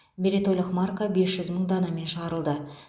мерейтойлық марка бес жүз мың данамен шығарылды